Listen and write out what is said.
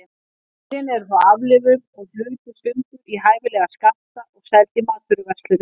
Dýrin eru þá aflífuð og hlutuð sundur í hæfilega skammta og seld í matvöruverslunum.